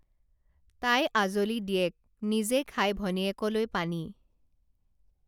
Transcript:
তাই আঁজলি দিয়েক নিজে খাই ভনীয়েকলৈ পানী